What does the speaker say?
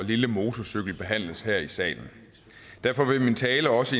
og lille motorcykel behandles her i salen derfor vil min tale også